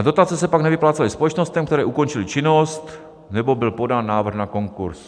A dotace se pak nevyplácely společnostem, které ukončily činnost nebo byl podán návrh na konkurz.